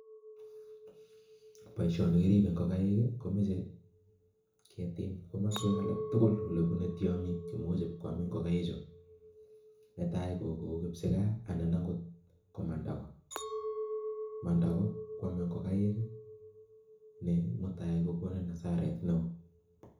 Boisioni kiribe ingokaik komechei ketim komoswek alak tugul olee bunee tianyik chee muuch ibkoam ingokaik chuu nee tai kou kibsigaa anan Ko mandago ,mandago koamee ngokaik nee mutai kokonu asara neo